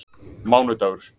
mánudagur